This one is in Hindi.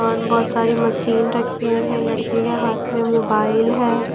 और बहुत सारी मशीन रखी हुई हैं लड़के के हाथ में मोबाइल है।